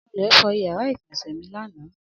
Anulẹ̀ fọ ìyàrá-ìgbọ̀nsẹ̀ mi lánàá.